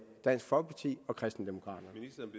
dansk folkeparti og kristendemokraterne